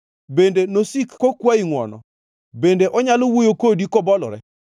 Bende nosik kokwayi ngʼwono? Bende onyalo wuoyo kodi kobolore?